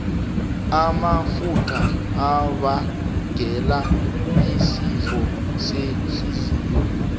amafutha abangela isifo sehliziyo